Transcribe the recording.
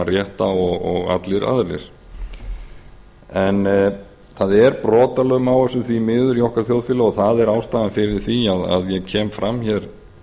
rétt á og allir aðrir en það er brotalöm á þessu því miður í okkar þjóðfélagi og það er ástæðan fyrir því að ég kem fram hér